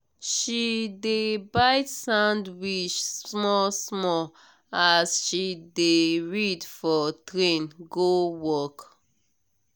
she dey bite sandwich small small as she dey read for train go work.